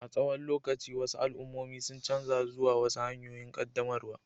A tsawon lokaci, wasu al'ummomi sun canza zuwa wasu hanyoyin ƙaddamarwar